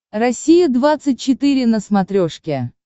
россия двадцать четыре на смотрешке